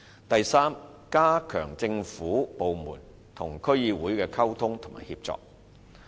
第三，加強政府部門與區議會的溝通及協作。